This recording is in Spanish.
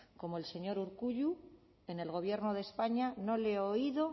como el señor urkullu en el gobierno de españa no le he oído